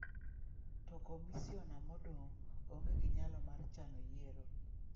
To komisiona modong' onge gi nyalo mar chano yiero.